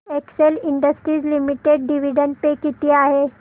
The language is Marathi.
Excel Industries Limited dividend pay किती आहे